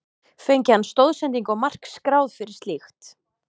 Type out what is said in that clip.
Fengi hann stoðsendingu og mark skráð fyrir slíkt?